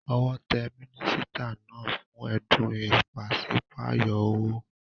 Owó te mínísítà náà fún édùn ìpasípayo owó